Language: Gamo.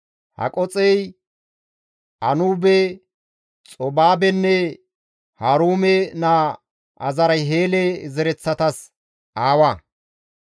Haqoxey Anuube, Xobaabenne Haruume naa Aharheele zereththatas aawa.